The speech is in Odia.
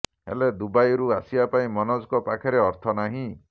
ହେଲେ ଦୁବାଇରୁ ଆସିବା ପାଇଁ ମନୋଜଙ୍କ ପାଖରେ ଅର୍ଥ ନାହିଁ